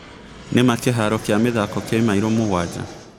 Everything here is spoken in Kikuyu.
nĩ maa kĩharo kĩa mĩthako ki maĩro mũgwaja